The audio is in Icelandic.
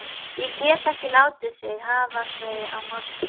Kremgulir sokkar teygja sig í áttina til mín.